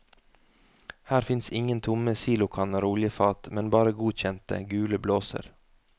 Her fins ingen tomme silokanner og oljefat, men bare godkjente, gule blåser.